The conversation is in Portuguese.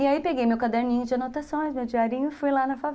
E aí peguei meu caderninho de anotações, meu diarinho e fui lá na fave